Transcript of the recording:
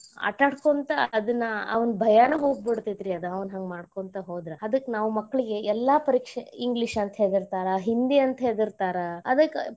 ಆಟಾಡಕೊಂತ ಅದನ್ನ ಅವ್ನ್ ಭಯಾನು ಹೋಗ್ಬಿಡ್ತೇತರಿ ಆವಾ ಹಂಗ್ ಮಾಡ್ಕೊಂತ ಹೋದ್ರ ಅದಕ್ಕ್ ನಾವು ಮಕ್ಕಳಿಗೆ ಎಲ್ಲಾ ಪರೀಕ್ಷೆ English ಅಂತ ಹೆದರ್ತಾರ ಹಿಂದಿ ಅಂತ ಹೆದರ್ತಾರ , ಅದಕ್ಕ್.